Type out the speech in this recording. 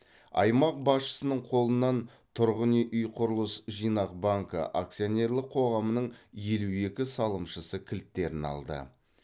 аймақ басшысының қолынан тұрғын үй үй құрылыс жинақ банкі акционерлік қоғамның елу екі салымшысы кілттерін алды